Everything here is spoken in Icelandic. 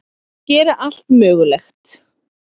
Þeir gera allt mögulegt.